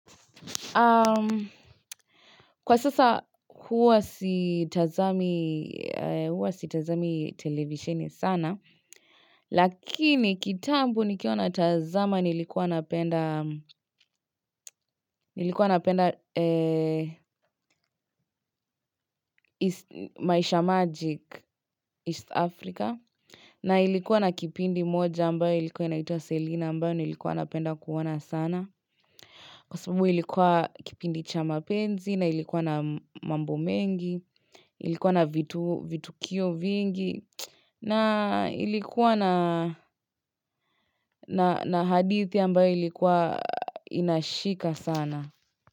Kwa sasa huwa sitazami televisheni sana Lakini kitambo nikiona tazama nilikuwa napenda maisha magic East Africa na ilikuwa na kipindi moja ambayo ilikuwa inaitwa Selina ambayo nilikuwa napenda kuona sana Kwa sababu ilikuwa kipindi cha mapenzi na ilikuwa na mambo mengi Ilikuwa na vitukio vingi na ilikuwa na hadithi ambayo ilikuwa inashika sana.